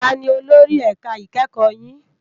Tàní ólóri èká ikèékò yin?